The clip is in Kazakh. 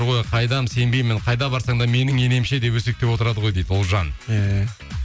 ой қайдам сенбеймін қайда барсаң да менің енем ше деп өсектеп отырады ғой дейді ұлжан иә